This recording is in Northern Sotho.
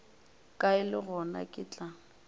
kae le gona ke tla